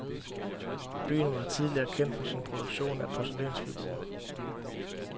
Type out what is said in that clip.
Byen var tidligere kendt for sin produktion af porcelænsfigurer.